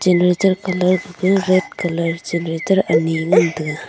brinjal colour ka red colour chari grater anyi ngan taiga.